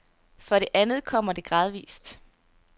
For det andet kommer det gradvis.